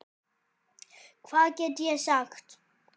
Hvað get ég sagt.